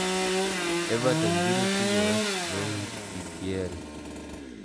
Evertoni biro tugo West Bromwich -Epl